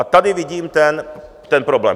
A tady vidím ten problém.